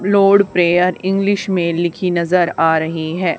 Lord prayer English में लिखी नजर आ रही है।